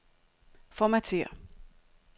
Formatér.